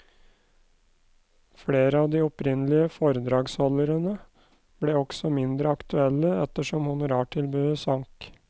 Flere av de opprinnelige foredragsholderene ble også mindre aktuelle ettersom honorartilbudet sank.